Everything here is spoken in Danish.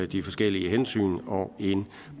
de forskellige hensyn og en